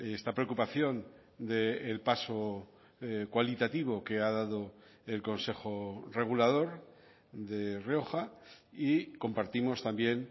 esta preocupación del paso cualitativo que ha dado el consejo regulador de rioja y compartimos también